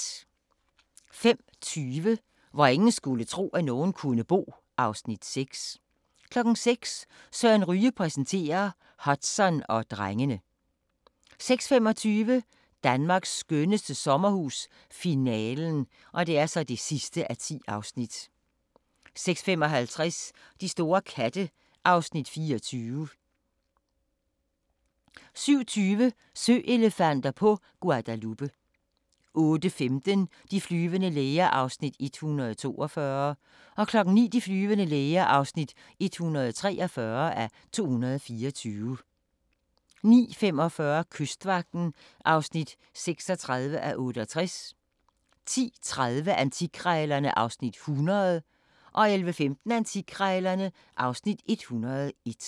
05:20: Hvor ingen skulle tro, at nogen kunne bo (Afs. 6) 06:00: Søren Ryge præsenterer - Hudson og drengene 06:25: Danmarks skønneste sommerhus - finalen (10:10) 06:55: De store katte (Afs. 24) 07:20: Søelefanter på Guadalupe 08:15: De flyvende læger (142:224) 09:00: De flyvende læger (143:224) 09:45: Kystvagten (36:68) 10:30: Antikkrejlerne (Afs. 100) 11:15: Antikkrejlerne (Afs. 101)